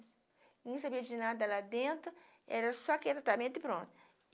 E não sabia de nada lá dentro, era só aquele tratamento e pronto.